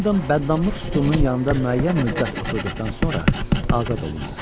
Hendam bəddamlıq sütununun yanında müəyyən müddət oturduqdan sonra azad olundu.